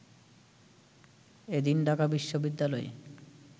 এদিন ঢাকা বিশ্ববিদ্যালয়ে